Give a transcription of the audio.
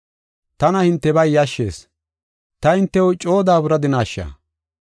Tana hintebay yashshees; ta hintew coo daaburadinasha?